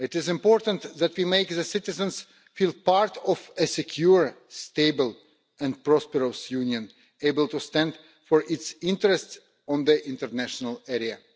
It is important that we make the citizens feel part of a secure, stable and prosperous Union, able to stand up for its interests in the international arena.